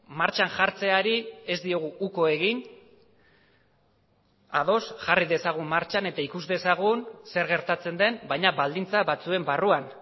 martxan jartzeari ez diogu uko egin ados jarri dezagun martxan eta ikus dezagun zer gertatzen den baina baldintza batzuen barruan